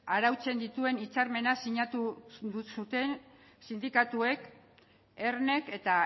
arautzen dituen hitzarmena sinatu zuten sindikatuek ernek eta